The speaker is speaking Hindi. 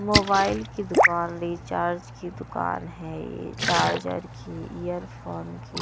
मोबाइल की दुकान रिचार्ज की दुकान है ये चार्जर की एयरफोन की।